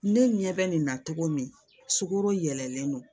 Ne ɲɛ bɛ nin na cogo min sukaro yɛlɛlen don